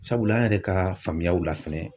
Sabula an yɛrɛ ka faamuyaw la fɛnɛ